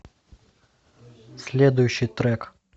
следующий трек